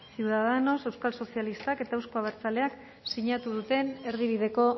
ciudadanos euskal sozialistak eta euzko abertzaleak sinatu duten erdibideko